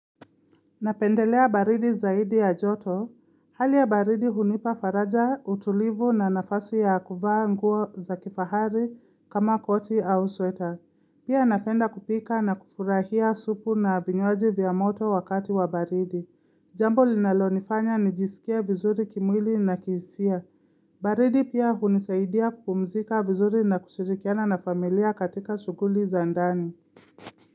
Napendelea baridi zaidi ya joto. Hali ya baridi hunipa faraja utulivu na nafasi ya kuvaa nguo za kifahari kama koti au sweta. Pia napenda kupika na kufurahia supu na vinywaji vya moto wakati wa baridi. Jambo linalo nifanya nijisikie vizuri kimwili na kihisia. Baridi pia hunisaidia kupumzika vizuri na kushirikiana na familia katika shughuli za ndani.